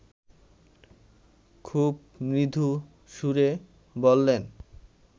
খুব মৃদু সুরে বললেন